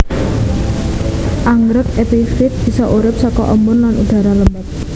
Anggrèk epifit bisa urip saka embun lan udhara lembab